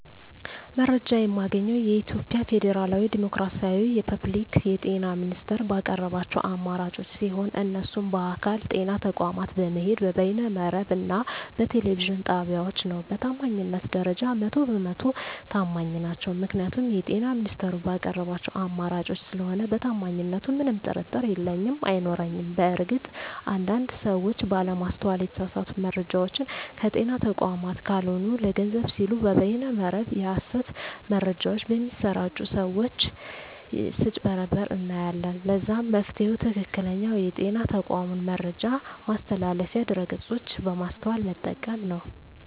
መረጃ የማገኘዉ የኢትዮጵያ ፌደራላዊ ዲሞክራሲያዊ የፐብሊክ የጤና ሚኒስቴር ባቀረባቸዉ አማራጮች ሲሆን እነሱም በአካል (ጤና ተቋማት በመሄድ)፣ በበይነ መረብ እና በቴሌቪዥን ጣቢያወች ነዉ። በታማኝነት ደረጃ 100 በ 100 ተማኝ ናቸዉ ምክንያቱም የጤና ሚኒስቴሩ ባቀረባቸዉ አማራጮች ስለሆነ በታማኝነቱ ምንም ጥርጥር የለኝም አይኖረኝም። በእርግጥ አንድ አንድ ሰወች ባለማስተዋል የተሳሳቱ መረጃወችን ከጤና ተቋማት ካልሆኑ ለገንዘብ ሲሉ በበይነ መረብ የሀሰት መረጃወች በሚያሰራጪ ሰወች ስጭበረበሩ እናያለን ለዛም መፍትሄዉ ትክክለኛዉ የጤና ተቋሙን የመረጃ ማስተላለፊያ ድረገፆች በማስተዋል መጠቀም ነዉ።